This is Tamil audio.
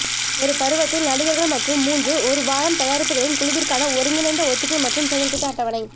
ஒரு பருவத்தில் நடிகர்கள் மற்றும் மூன்று ஒரு வாரம் தயாரிப்புகளின் குழுவிற்கான ஒருங்கிணைந்த ஒத்திகை மற்றும் செயல்திட்ட அட்டவணை